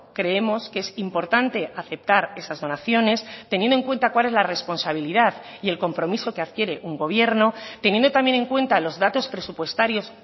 creemos que es importante aceptar esas donaciones teniendo en cuenta cuál es la responsabilidad y el compromiso que adquiere un gobierno teniendo también en cuenta los datos presupuestarios